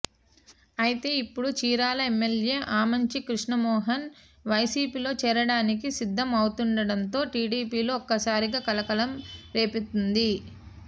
అయితే ఇప్పుడు చీరాల ఎమ్మెల్యే ఆమంచి కృష్ణమోహన్ వైసీపీలో చేరడానికి సిద్ధం అవుతుండడంతో టీడీపీలో ఒక్కసారిగా కలకలం రేపుతోంది